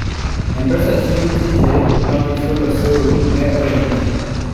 M-Pesa chiwo tije mag chulo osuru ne ohelni.